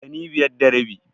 Ɗani biyar da rabi.